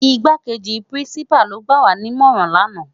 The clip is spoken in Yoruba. Igákéji Pirinsipá ló gbáwá ni imòrán làná